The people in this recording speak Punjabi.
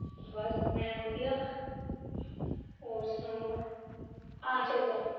ਬਸ ਮੈਂ ਵਧੀਆ ਹੋਰ ਸੁਣਾਉ ਕੀ ਚੱਲਦਾ?